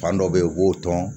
Fan dɔ bɛ ye u b'o tɔn